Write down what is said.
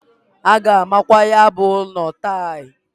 A ga-amakwa ya bụ ụnọ tail.